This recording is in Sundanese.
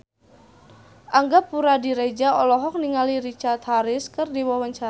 Angga Puradiredja olohok ningali Richard Harris keur diwawancara